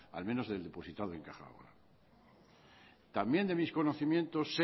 al menos del depositado en caja laboral también de mis conocimientos sé